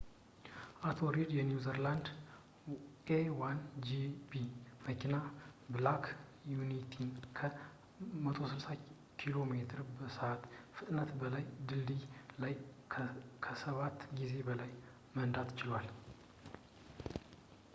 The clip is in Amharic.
አቶ ሪድ የኒውዚላንድ a1gp መኪና ብላክ ቢዩቲን ከ 160 ኪሜ በሰዕት ፍጥነት በላይ በድልድዩ ላይ ከሰባት ጊዜ በላይ መንዳት ችሏል